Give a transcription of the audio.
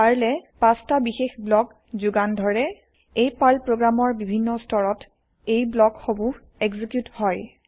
পাৰ্লে ৫টা বিশেষ ব্লক যোগান ধৰে এই পাৰ্ল প্ৰগ্ৰেমৰ বিভিন্ন স্ততৰত এই ব্লক সমূহ এক্সিকিউত হয়